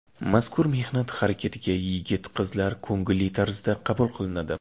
Mazkur mehnat harakatiga yigit-qizlar ko‘ngilli tarzda qabul qilinadi.